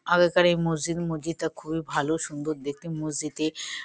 আগেকার এই মসজিদ। মসজিদটা খুবই ভালো সুন্দর দেখতে। মসজিদে ।